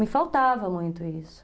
Me faltava muito isso.